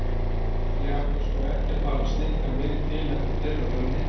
Ég ætla sko ekki að fara að snikka mig til eftir þeirra höfði.